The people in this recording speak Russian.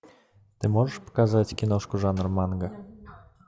ты можешь показать киношку жанра манга